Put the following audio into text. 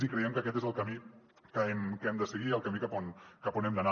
i creiem que aquest és el camí que hem de seguir el camí cap on hem d’anar